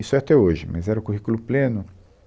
Isso é até hoje, mas era o currículo pleno.